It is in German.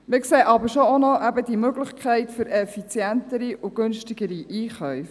Wir sehen aber eben schon auch noch die Möglichkeit für effizientere und günstigere Einkäufe.